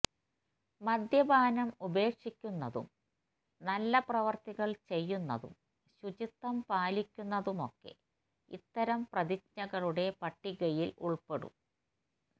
മദ്യപാനം ഉപേക്ഷിക്കുന്നതും നല്ല പ്രവൃത്തികള് ചെയ്യുന്നതും ശുചിത്വം പാലിക്കുന്നതുമൊക്കെ ഇത്തരം പ്രതിജ്ഞകളുടെ പട്ടികയില് ഉള്പ്പെടും